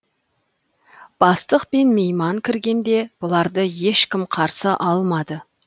бастық пен мейман кіргенде бұларды ешкім қарсы алмады